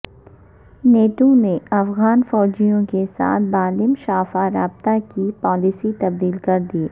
NATO نے افغان فوجیوں کے ساتھ بالمشافہ رابطے کی پالیسی تبدیل کر دی